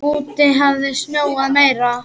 Úti hafði snjóað meira.